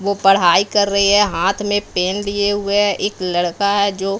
वो पढ़ाई कर रही है हाथ में पेन लिए हुए है एक लड़का है जो--